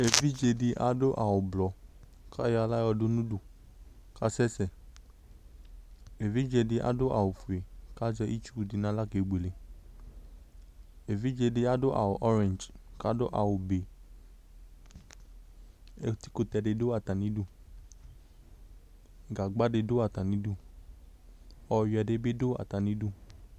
Evidze di adu awu ɔblɔ ku ayɔ aɣla yɔdu nu udu ku asɛsɛ Evidze di adu awu ɔfue ku azɛ itsu di nu aɣla kebuele Evidze di adu awu ɔwlɔmɔ ku adu awu be Ɛkutɛ di du atami idu Gagba di du atami idu Ɔyuiɛ di bi du atami idu